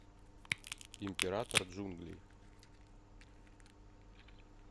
император джунглей